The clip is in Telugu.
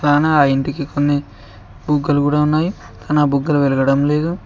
చానా ఆ ఇంటికి కొన్ని బుగ్గలు గుడా ఉన్నాయి కానా బుగ్గలు వెలగడం లేదు.